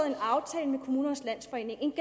en aftale med kommunernes landsforening en